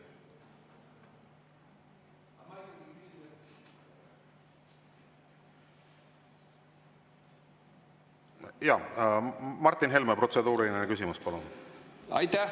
Jah, Martin Helme, protseduuriline küsimus, palun!